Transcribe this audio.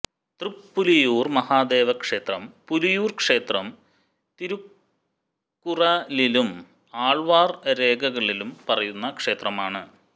തൃപ്പുലിയൂർ മഹാദേവക്ഷേത്രം പുലിയൂർ ക്ഷേത്രം തിരുക്കുറലിലും ആൾവാർ രേഖകളിലും പറയുന്ന ക്ഷേത്രമാണ്